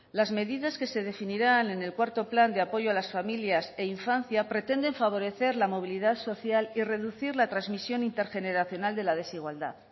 las medidas que se definirán en el cuarto plan de apoyo a las familias e infancia pretenden favorecer la movilidad social y reducir la transmisión intergeneracional de la desigualdad